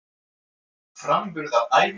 Framburðaræfingarnar eru skemmtilegar.